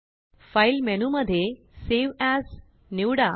File menu मध्येSave as निवडा